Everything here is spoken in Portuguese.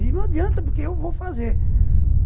E não adianta, porque eu vou fazer.